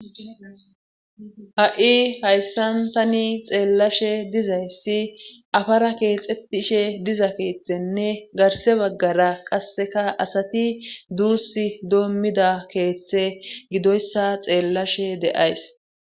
Ha7i hayssan tani xeellashe dizayssi afara keexettishe diza keeththenne garse baggara qasseka asati duus doommida keeththe gidoyssa xeellashe de7ays.